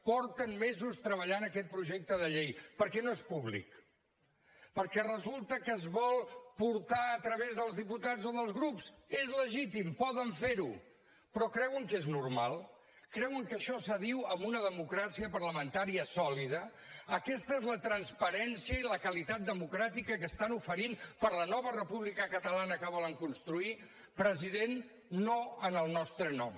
fa mesos que treballen aquest projecte de llei per què no és públic perquè resulta que es vol portar a través dels diputats o dels grups és legítim poden fer ho però creuen que és normal creuen que això s’adiu amb una democràcia parlamentària sòlida aquesta és la transparència i la qualitat democràtica que estan oferint per a la nova república catalana que volen construir president no en el nostre nom